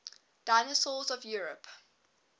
dinosaurs of europe